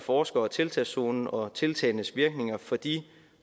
forskere tiltagszonen og tiltagenes virkninger for de